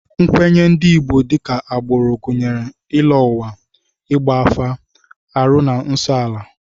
Nkwenye ndị Igbo dịka agbụrụ gụnyere ịlọ ụwa, ịgba afa, arụ na nsọala